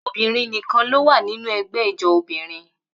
Obìnrin nìkan ló wà nínú ẹgbẹ́ ijó obìnrin.